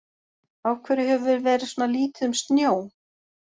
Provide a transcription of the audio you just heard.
Af hverju hefur verið svona lítið um snjó?